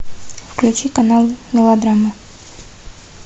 включи канал мелодрама